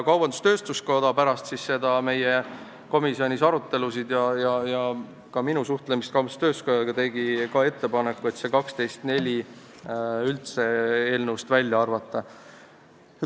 Kaubandus-tööstuskoda pärast meie komisjoni arutelusid ja ka minu suhtlemist nendega tegi ettepaneku see § 12 lõige 4 üldse eelnõust välja arvata.